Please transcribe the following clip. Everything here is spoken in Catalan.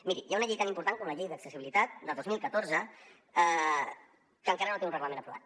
miri hi ha una llei tan important com la llei d’accessibilitat de dos mil catorze que encara no té un reglament aprovat